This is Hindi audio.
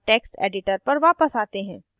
अब text editor पर वापस आते हैं